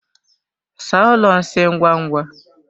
Saa ụlọ nsị ngwa ngwa!